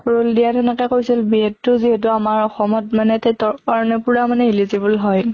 rule দিয়াত সেনেকে কৈছিল B.Ed তো যিহেতু আমাৰ অসমত মানে TET কাৰণে পুৰা মানে eligible হয়